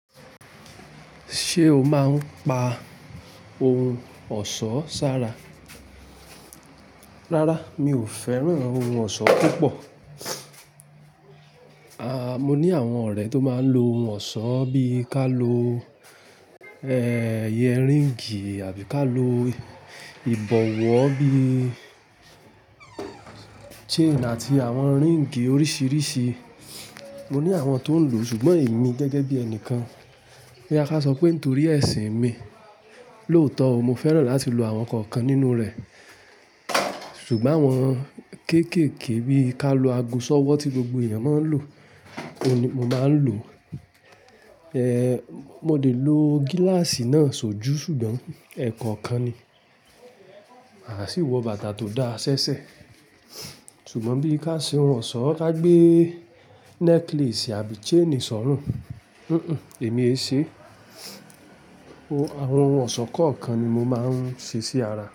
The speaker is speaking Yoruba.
Ṣé o máa ń pa ohun ọ̀ṣọ́ sára? Rárá, mi ò fẹ́ràn ohun ọ̀ṣọ́ púpọ̀. Aà, mo ní àwọn ọ̀rẹ́ tó máa ń lo ohun ọ̀ṣọ́ bí i ká lo, ẹ, iye ring àbí ká lo ìbọ̀wọ́ bí i chain àti àwọn ring oríṣiríṣi. Mo ní àwọn tó ń lò, ṣùgbọ́n èmi gẹ́gẹ́ bí ẹnìkan, bí a bá sọ pé nítorí ẹ̀sìn mi, lóòótọ́ mo fẹ́ràn láti lo àwọn kọ̀ọ̀kan nínú rẹ̀. Ṣùgbọ́n àwọn kéékèèké bí i ká lo ago ṣọ́wọ́ tí gbogbo èèyàn máa ń lò, òun ni mo máa ń lò. Ehn, mo lè lo gíláàsì náà ṣojú ṣùgbọ́n ẹ̀kọ̀ọ̀kan ni. A sì wọ bàtà tó da ṣẹ́ṣẹ́. Ṣùgbọ́n bí ká ṣe ohun ọ̀ṣọ́, ká gbé necklace àbí chain sọ́rùn, hùn hùn, èmi é ṣe. Oh, àwọn ohun ọ̀ṣọ́ kọ̀ọ̀kan ni mo máa ń ṣe sí ara.